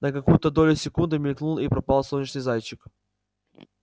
на какую-то долю секунды мелькнул и пропал солнечный зайчик